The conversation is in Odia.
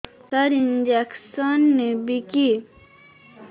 ସାର ଇଂଜେକସନ ନେବିକି